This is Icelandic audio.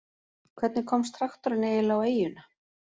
Hvernig komst traktorinn eiginlega á eyjuna?